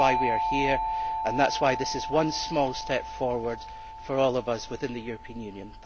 That is why we are here and that is why this is one small step forward for all of us within the European Union.